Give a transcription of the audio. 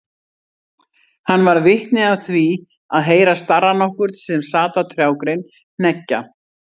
Hann varð vitni af því að heyra starra nokkurn sem sat á trjágrein hneggja.